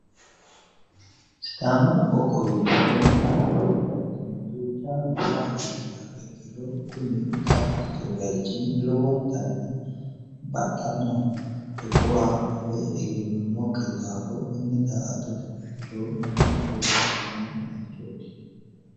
Sidaamu qoqqowi giddo daa"atotte baayichi duuchawa nooha ikkiro kuni daa"atotte bayichi lowonittan baxxanoho togooha afe egenoomokki daafo konne daa"attote baayicho mamiicho anifanni bayichoot?